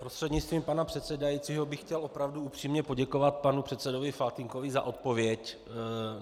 Prostřednictvím pana předsedajícího bych chtěl opravdu upřímně poděkovat panu předsedovi Faltýnkovi za odpověď.